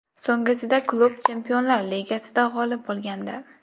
So‘nggisida klub Chempionlar Ligasida g‘olib bo‘lgandi.